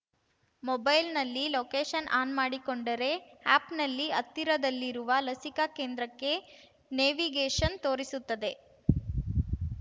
ಮೊಬೈಲ್‌ನಲ್ಲಿ location on ಮಾಡಿಕೊಂಡರೆ ಆ್ಯಪ್‌ನಲ್ಲಿ ಹತ್ತಿರದಲ್ಲಿರುವ ಲಸಿಕಾ ಕೇಂದ್ರಕ್ಕೆ ನೇವಿಗೇಷನ್‌ ತೋರಿಸುತ್ತದೆ